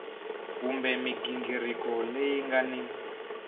kumbe mighingiriko leyi nga ni